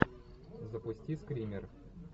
запусти скример